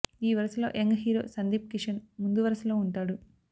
ఈ వరుసలో young hero Sandeep Kishan ముందు వరుస లో ఉంటాడు